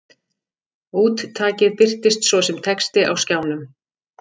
Úttakið birtist svo sem texti á skjánum.